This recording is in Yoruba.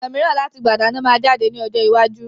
Ọ̀nà miran láti gbà dáná máa jáde ní ọjọ́ iwájú